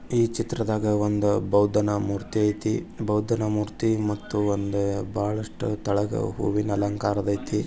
ಈ ಚಿತ್ರದಾಗ ಒಂದು ಬೌದ್ದನ ಮೂರ್ತಿ ಅಯ್ತಿ ಬೌದ್ದನ ಮೂರ್ತಿ ಮತ್ತು ಒಂದು ಬಳಷ್ಟು ತಳಗ ಹೂವಿನ ಅಲಂಕಾರ ದಾಯಿತಿ.